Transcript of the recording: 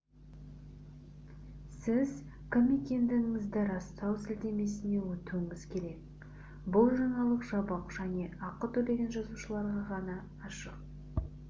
сіз кім екендігіңізді растау сілтемесіне өтуіңіз керек бұл жаңалық жабық және ақы төлеген жазылушыларға ғана ашық